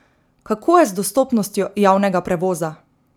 Kako je z dostopnostjo javnega prevoza?